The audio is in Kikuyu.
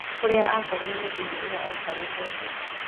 Kũrĩa akorire mũthuri ũrĩa aikarĩte thĩ.